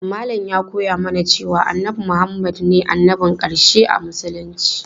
Malam ya koya mana cewa annabi Muhammad ne annabin ƙarshe a musulunci.